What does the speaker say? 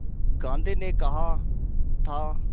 गांधी ने कहा था